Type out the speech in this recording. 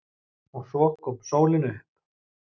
OG SVO KOM SÓLIN UPP.